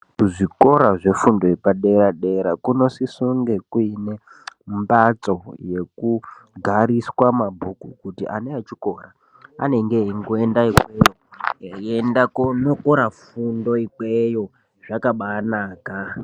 Kuzvikora zvefundo yepadera-dera kunosisa kunge kuine mphatso yekugariswa mabhuku kuti ana echikora anenge eingoenda ikweyo eienda koonokora fundo ikweyo zvakabaanaka.